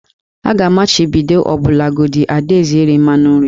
A ga-amachibido ọbụlagodi Ada eze iri mmanụ nri